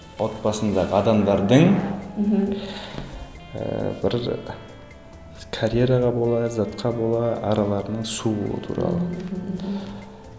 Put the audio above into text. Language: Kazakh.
отбасындағы адамдардың мхм ііі бір карьераға бола ләззатқа бола араларының сууы туралы